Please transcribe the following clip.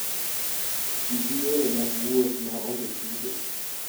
Ti gi yore mag wuoth ma onge chudo.